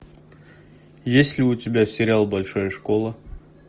есть ли у тебя сериал большая школа